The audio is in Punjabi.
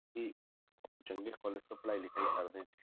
ਕਿ ਚੰਗੇ college ਤੋਂ ਪੜ੍ਹਾਈ ਲਿਖਾਈ ਕਰਦੇ ਹਾਂ,